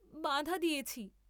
বাঁধা দিয়েছি।